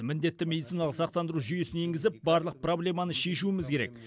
міндетті медициналық сақтандыру жүйесін енгізіп барлық проблеманы шешуіміз керек